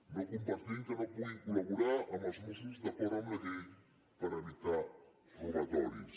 no compartim que no puguin col·laborar amb els mossos d’acord amb la llei per evitar robatoris